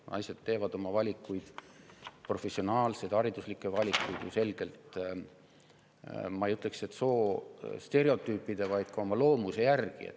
Naised teevad oma valikuid, professionaalseid ja hariduslikke valikuid selgelt, ma ei ütleks, et soostereotüüpide, aga ka oma loomuse järgi.